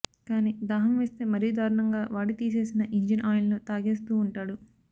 ఇక దాహం వేస్తే మరీ దారుణంగా వాడి తీసేసిన ఇంజిన్ ఆయిల్ను తాగేస్తూ ఉంటాడు